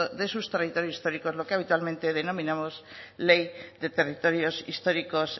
de sus territorios históricos lo que habitualmente denominamos ley de territorios históricos